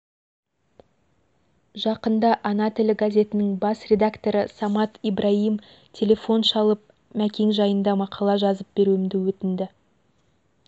жақында ана тілі газетінің бас редакторы самат ибраим телефон шалып мәкең жайында мақала жазып беруімді өтінді